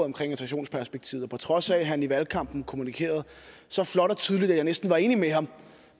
integrationsperspektivet og på trods af at han i valgkampen kommunikerede så flot og tydeligt at jeg næsten var enig med ham